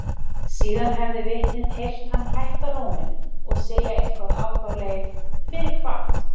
Síðan hefði vitnið heyrt hann hækka róminn og segja eitthvað á þá leið: Fyrir hvað?